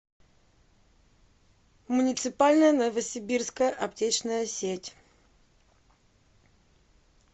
муниципальная новосибирская аптечная сеть